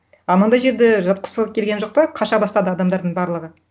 а мынандай жерде жатқысы келген жоқ та қаша бастады адамдардың барлығы